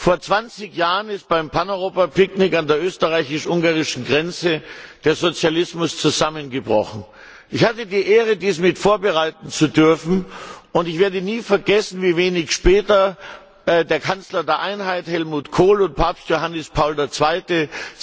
Vor 20 Jahren ist beim Pan Europa Picknick an der österreichisch ungarischen Grenze der Sozialismus zusammengebrochen. Ich hatte die Ehre, dies mit vorbereiten zu dürfen, und ich werde nie vergessen, wie wenig später der Kanzler der Einheit, Helmut Kohl, und Papst Johannes Paul II.,